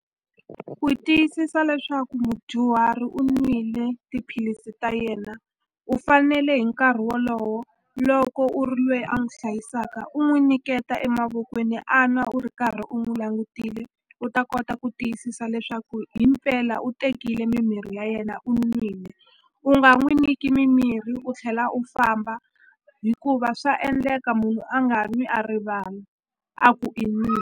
Ku tiyisisa leswaku mudyuhari u n'wile tiphilisi ta yena u fanele hi nkarhi wolowo loko u ri lweyi a n'wi hlayisaka u n'wi nyiketa emavokweni a nwa u ri karhi u n'wi langutisile u ta kota ku tiyisisa leswaku hi mpela u tekile mimirhi ya yena u nwile u nga n'wi niki mimirhi u tlhela u famba hikuva swa endleka munhu a nga nwi a rivala a ku i .